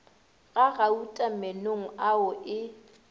ga gauta meenong ao e